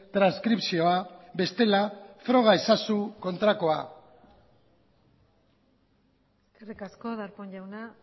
transkripzioa bestela froga ezazu kontrakoa eskerrik asko darpón jauna